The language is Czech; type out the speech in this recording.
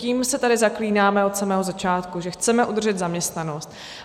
Tím se tady zaklínáme od samého začátku, že chceme udržet zaměstnanost.